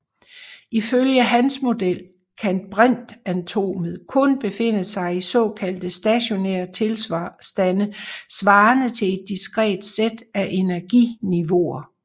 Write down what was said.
Ifølge hans model kan brintatomet kun befinde sig i såkaldte stationære tilstande svarende til et diskret sæt af energiniveauer